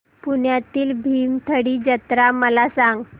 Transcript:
पुण्यातील भीमथडी जत्रा मला सांग